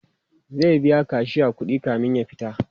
zai biya kashiya kuɗi kamin ya fita